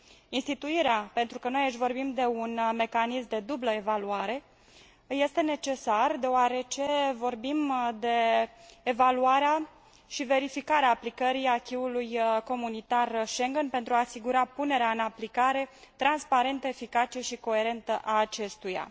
Instituirea pentru că noi aici vorbim de un mecanism de dublă evaluare este necesară, deoarece vorbim de evaluarea și verificarea aplicării acquis ului comunitar Schengen pentru a asigura punerea în aplicare transparentă, eficace și coerentă a acestuia.